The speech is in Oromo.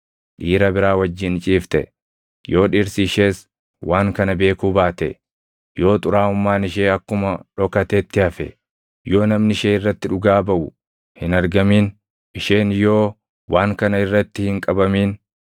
dhiira biraa wajjin ciifte, yoo dhirsi ishees waan kana beekuu baate, yoo xuraaʼummaan ishee akkuma dhokatetti hafe, yoo namni ishee irratti dhugaa baʼu hin argamin, isheen yoo waan kana irratti hin qabamin,